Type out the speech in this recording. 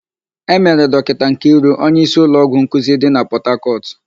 E mere Dọkịta Nkiru onyeísí ụlọọgwụ nkuzi dị na Pọtakọtụ.